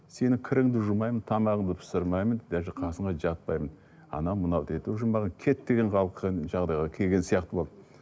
сенің кіріңді жумаймын тамағыңды пісірмеймін даже қасыңа жатпаймын анау мынау деді уже маған кет деген жағдайға келген сияқты болды